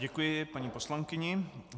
Děkuji paní poslankyni.